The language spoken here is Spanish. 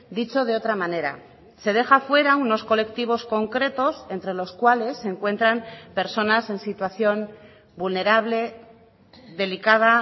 dicho de otra manera se deja fuera unos colectivos concretos entre los cuales se encuentran personas en situación vulnerable delicada